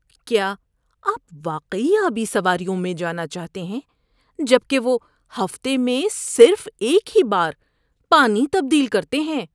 کیا آپ واقعی آبی سواریوں میں جانا چاہتے ہیں جب کہ وہ ہفتے میں صرف ایک ہی بار پانی تبدیل کرتے ہیں؟